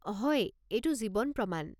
হয়, এইটো জীৱন প্ৰমাণ।